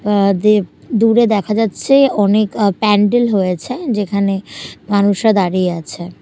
দেব দূরে দেখা যাচ্ছে অনেক প্যান্ডেল হয়েছে যেখানে মানুষরা দাঁড়িয়ে আছে।